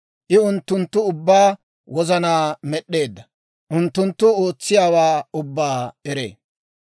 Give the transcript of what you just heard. I unttunttu ubbaa wozanaa med'd'eedda; unttunttu ootsiyaawaa ubbaa eree.